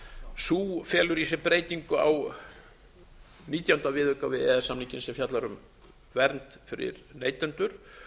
sú felur í sér breytingu á nítjánda viðauka við e e s samninginn sem fjallar um vernd fyrir neytendur